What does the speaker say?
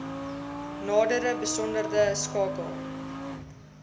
nadere besonderhede skakel